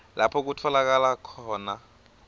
lapho kutfolakala khona